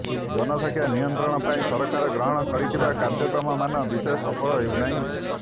ଜନସଂଖ୍ୟା ନିୟନ୍ତ୍ରଣ ପାଇଁ ସରକାର ଗ୍ରହଣ କରିଥିବା କାର୍ଯ୍ୟକ୍ରମମାନ ବିଶେଷ ସଫଳ ହେଉନାହିଁ